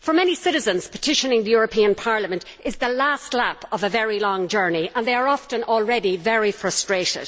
For many citizens, petitioning the European Parliament is the last lap of a very long journey and they are often already very frustrated.